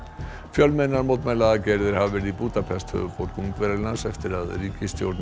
fjölmennar mótmælaaðgerðir hafa verið í Búdapest höfuðborg Ungverjalands eftir að ríkisstjórn